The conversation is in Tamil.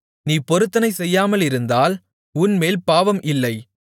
நீ பொருத்தனை செய்யாமலிருந்தால் உன்மேல் பாவம் இல்லை